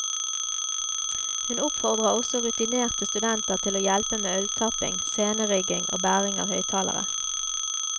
Hun oppfordrer også rutinerte studenter til å hjelpe med øltapping, scenerigging og bæring av høyttalere.